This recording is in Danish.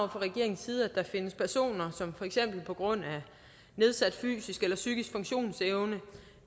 regeringens side at der findes personer som for eksempel på grund af nedsat fysisk eller psykisk funktionsevne